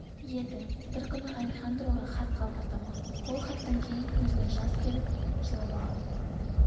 еді бір күні алехандроға хат қалдырдым ол хаттан кейін көзіне жас келіп жылап алған екен